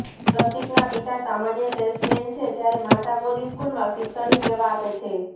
પ્રતિકના પિતા સામાન્ય સેલ્સમેન છે જયારે માતા મોદી સ્કુલમાં શિક્ષણની સેવા આપે છે